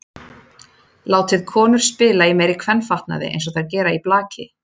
Látið konur spila í meiri kvenfatnaði eins og þær gera í blaki.